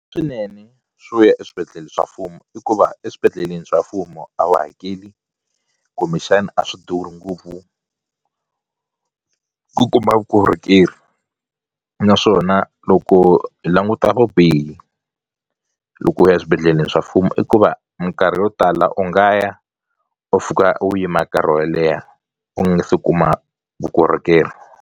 Swinene swo ya eswibedhlele swa mfumo hikuva eswibedhlele ni swa mfumo a wu hakeli kumbexani a swi durhi ngopfu ku kuma vukorhokeri naswona loko hi languta vubihi loko u ya swibedhlele swa mfumo i ku va minkarhi yo tala u nga ya u fika u yima nkarhi wo leha u nge se kuma vukorhokeri.